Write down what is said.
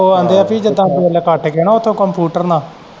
ਉਹ ਆਂਦੇ ਹੈ ਪਈ ਜਿੱਦਾਂ ਬਿੱਲ ਕੱਟ ਕੇ ਨਾ ਉੱਥੇ computer ਨਾਲ।